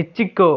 Ichiko